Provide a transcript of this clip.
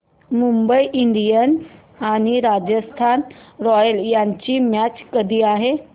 Mumbai Indians आणि Rajasthan Royals यांची match कधी आहे